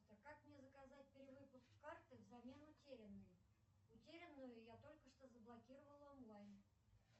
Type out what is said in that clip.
как мне заказать перевыпуск карты взамен утерянной утерянную я только что заблокировала онлайн